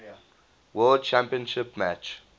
world championship match